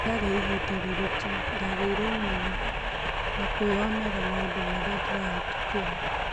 Warĩ ĩbida rĩritũ ndagĩire ũmenyo wa kwĩonera maũndũ ndĩrabĩtukĩra